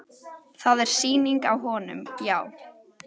Það er sýning á honum, já.